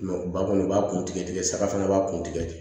ba kɔni i b'a kun tigɛ tigɛ saga fana b'a kun tigɛ de